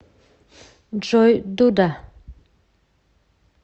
джой дуда